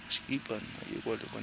sa gago sa irp it